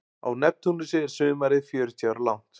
Á Neptúnusi er sumarið fjörutíu ára langt.